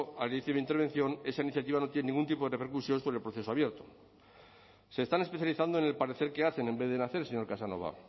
al inicio de mi intervención esa iniciativa no tiene ningún tipo de repercusiones sobre el proceso abierto se están especializando en el parecer que hacen en vez de en hacer señor casanova